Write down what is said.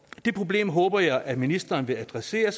det problem håber jeg at ministeren vil adressere